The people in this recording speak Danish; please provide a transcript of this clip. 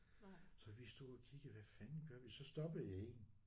Så vi stod og kiggede hvad fanden gør vi så stoppede jeg en